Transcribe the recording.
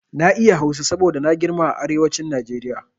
Na iya Hausa saboda na girma a arewacin Najeriya.